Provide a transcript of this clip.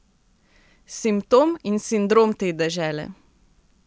Simptom in sindrom te dežele.